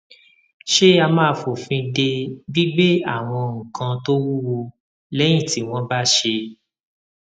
ṣé a máa fòfin de gbígbé àwọn nǹkan tó wúwo léyìn tí wón bá ṣé